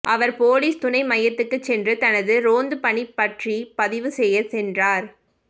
அவர் police துணை மையத்துக்குச் சென்று தனது ரோந்துப் பணி பற்றிப் பதிவு செய்யச் சென்றார்